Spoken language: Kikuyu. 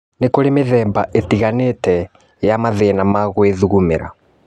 Nĩkũrĩ mĩthemba ĩtiganĩta ya mathĩna ma gwĩthugumĩra